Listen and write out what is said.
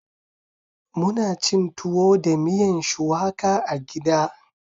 Muna cin tuwo da miyan shuwaka a gida.